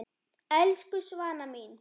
Elsku Svana mín.